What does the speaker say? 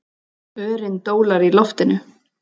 Örin dólar í loftinu.